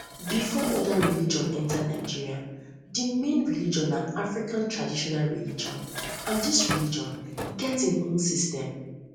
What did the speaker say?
before oda religion oda religion enter nigeria di main religion na african traditional religion and this religion get im own um system